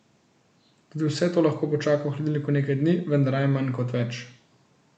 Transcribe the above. Tudi vse to lahko počaka v hladilniku nekaj dni, vendar raje manj kot več.